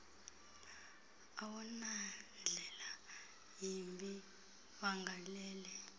awunandlela yimbi wagalele